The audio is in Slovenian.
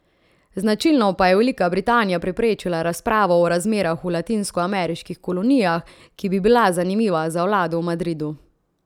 Značilno pa je Velika Britanija preprečila razpravo o razmerah v latinskoameriških kolonijah, ki bi bila zanimiva za vlado v Madridu.